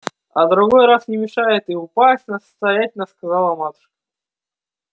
а другой раз не мешает и упасть настаятельно сказала матушка